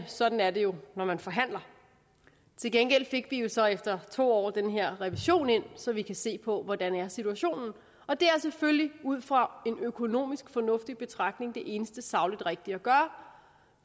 sådan er det jo når man forhandler til gengæld fik vi jo så efter to år den her revision ind så vi kan se på hvordan situationen og det er selvfølgelig ud fra en økonomisk fornuftig betragtning det eneste sagligt rigtige at gøre